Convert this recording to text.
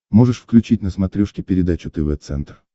можешь включить на смотрешке передачу тв центр